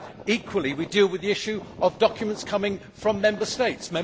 Equally, we deal with the issue of documents coming from Member States.